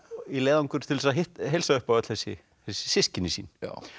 í leiðangur til að heilsa upp á öll þessi systkini sín